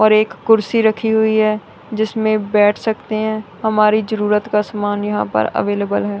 और एक कुर्सी रखी हुई है जिसमें बैठ सकते है हमारी जरूरत का समान यहां पर अवेलेबल है।